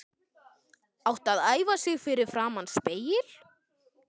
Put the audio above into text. Átti að æfa sig fyrir framan spegil.